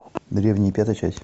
древние пятая часть